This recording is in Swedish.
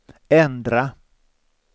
ändra